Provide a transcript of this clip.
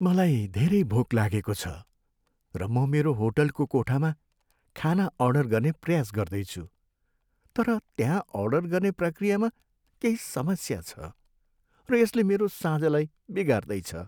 मलाई धेरै भोक लागेको छ, र म मेरो होटलको कोठामा खाना अर्डर गर्ने प्रयास गर्दैछु, तर त्यहाँ अर्डर गर्ने प्रक्रियामा केही समस्या छ, र यसले मेरो साँझलाई बिगार्दैछ।